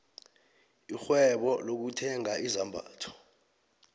irhwebo lokuthenga izambatho